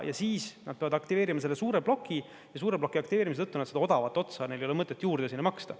Ja siis nad peavad aktiveerima selle suure ploki ja suure ploki aktiveerimise tõttu nad seda odavat otsa, neil ei ole mõtet sinna juurde maksta.